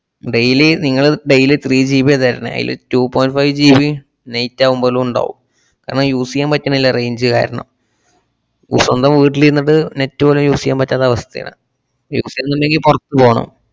daily നിങ്ങള് daily threeGB യാ തരണേ. അയില് two point fiveGBnight ആവുമ്പളും ഉണ്ടാവും. കാരണം use എയ്യാൻ പറ്റണില്ല range കാരണം. സ്വന്തം വീട്ടിലിരുന്നിട്ട് net പോലും use എയ്യാൻ പറ്റാത്ത അവസ്ഥേണ്. മുന്നില് പൊറത്ത് പോണം